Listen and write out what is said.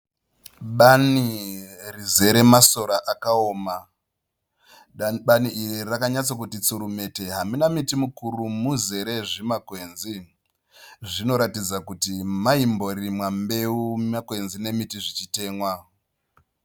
Bani rizere masora akaoma. Bani iri rakanyatsa kuti tsurumete. Hamuna miti mikuru rizere zvimakwenzi, zvinoratidza kuti maimborimwa mbeu makwenzi nemiti zvichitemwa.